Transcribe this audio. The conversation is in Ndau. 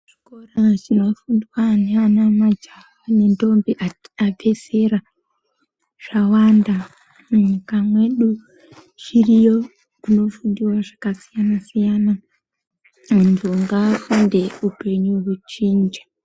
Chikora chinofundwa nevanamajaha nentombi abve zera zvawanda munyika medu zviriyo zvinofundiwa zvakasiyana siyana antu ngaafunde upenyu uchinje.